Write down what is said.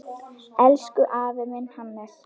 Elsku afi minn, Hannes.